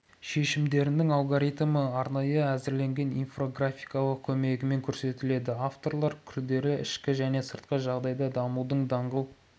шешімдерінің алгоритмі арнайы әзірленген инфографикалардың көмегімен көрсетіледі авторлар күрделі ішкі және сыртқы жағдайда дамудың даңғыл